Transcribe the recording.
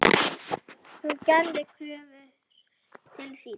Hún gerði kröfur til sín.